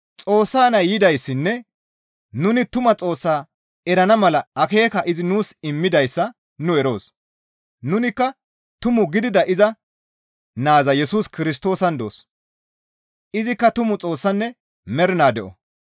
Xoossa Nay yidayssanne nuni tuma Xoossaa erana mala akeeka izi nuus immidayssa nu eroos; nunikka tumu gidida iza Naaza Yesus Kirstoosan doos; Izikka tumu Xoossanne mernaa de7o.